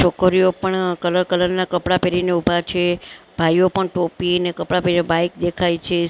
છોકરીઓ પણ colour colour ના કપડા પહેરીને ઊભા છે ભાઈઓ પણ ટોપી અને કપડા પહેરીને બાઈક દેખાય છે.